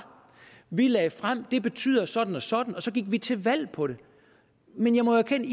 vi lagde frem det betyder sådan og sådan og så gik vi til valg på det men jeg må erkende